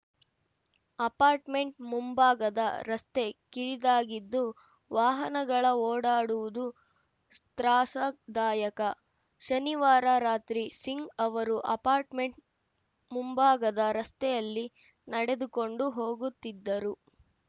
apartment ಮುಂಭಾಗದ ರಸ್ತೆ ಕಿರಿದಾಗಿದ್ದು ವಾಹನಗಳ ಓಡಾಡುವುದು ತ್ರಾಸದಾಯಕ ಶನಿವಾರ ರಾತ್ರಿ ಸಿಂಗ್‌ ಅವರು ಅಪಾರ್ಟ್‌ಮೆಂಟ್‌ ಮುಂಭಾಗದ ರಸ್ತೆಯಲ್ಲಿ ನಡೆದುಕೊಂಡು ಹೋಗುತ್ತಿದ್ದರು